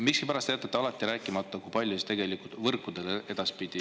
Miskipärast te jätate alati rääkimata, kui palju siis tegelikult võrkudele edaspidi …